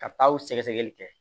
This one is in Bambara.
Ka taa o sɛgɛsɛgɛli kɛ